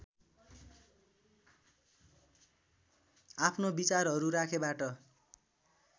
आफ्नो विचारहरू राखेबाट